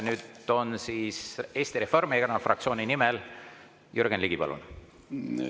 Nüüd siis Eesti Reformierakonna fraktsiooni nimel Jürgen Ligi, palun!